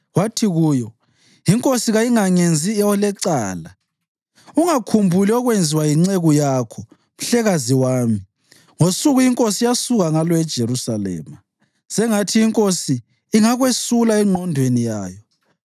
wathi kuyo, “Inkosi kayingangenzi olecala. Ungakhumbuli okubi okwenziwa yinceku yakho mhlekazi wami ngosuku inkosi eyasuka ngalo eJerusalema. Sengathi inkosi ingakwesula engqondweni yayo.